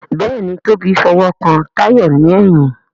Béèni Tobi f'owo kán Tayo ní èyìn.